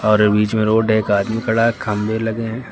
और एक बीच में रोड है एक आदमी खड़ा है खम्बे लगे हैं।